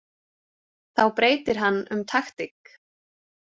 Þá breytir hann um taktík.